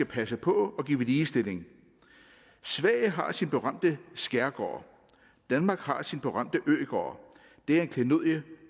passe på og give ligestilling sverige har sin berømte skærgård danmark har sin berømte øgård det er et klenodie